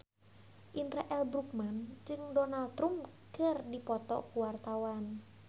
Indra L. Bruggman jeung Donald Trump keur dipoto ku wartawan